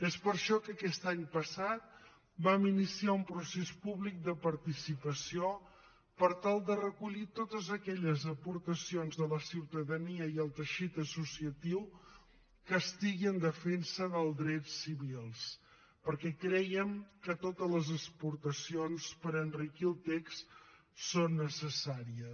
és per això que aquest any passat vam iniciar un procés públic de participació per tal de recollir totes aquelles aportacions de la ciutadania i el teixit associatiu que estiguin en defensa dels drets civils perquè crèiem que totes les aportacions per enriquir el text són necessàries